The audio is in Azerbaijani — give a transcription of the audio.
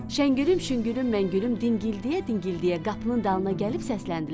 Şəngülüm, şüngülüm, məngülüm dingildiyə-dingildiyə qapının dalına gəlib səsləndilər.